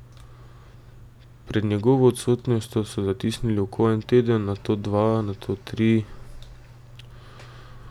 Pred njegovo odsotnostjo so zatisnili oko en teden, nato dva, nato tri.